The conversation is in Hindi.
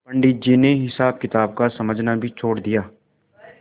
पंडित जी ने हिसाबकिताब का समझना भी छोड़ दिया